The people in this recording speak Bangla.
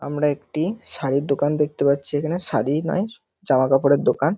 আমরা একটি শাড়ির দোকান দেখতে পাচ্ছি এখানে। শাড়ি নয় জামা কাপড়ের দোকান।